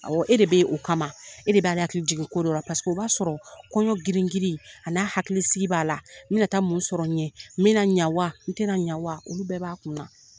Ayiwa e de beyi o kama e de b'ale hakili jigin ko dɔ la paseke o b'a sɔrɔ kɔɲɔ gringirin a n'a hakilisigi b'a la n bɛna taa mun sɔrɔ n ɲɛ n bɛna ɲawa n tɛna ɲawa olu bɛɛ b'a kun na.